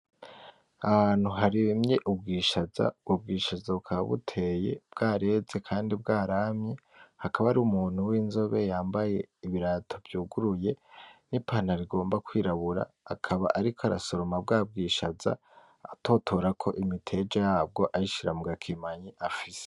Ahantu harimye ubwishaza ubwo bwishaza bukaba buteye bwareze kandi bwaramye hakaba hari umuntu winzobe yambaye ibirato vyuguruye n'ipantaro igomba kwirabura akaba ariko arasoroma bwa bwishaza atotorako imiteja yabwo ayishira mu gakemanyi afise.